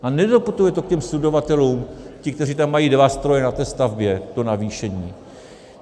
A nedoputuje to k těm subdodavatelům, těm, kteří tam mají dva stroje na té stavbě, to navýšení.